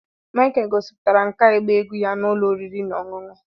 Michael gosipụtara nkà ịgba egwú ya n'ala ụlọ oriri na ọṅụṅụ